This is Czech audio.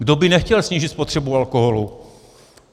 Kdo by nechtěl snížit spotřebu alkoholu?